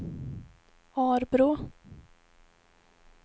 Arbrå